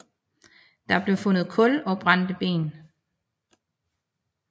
Der blev fundet kul og brændte ben